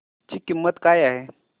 ची किंमत काय आहे